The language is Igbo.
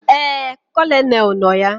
Éè, Kolonel nọ ya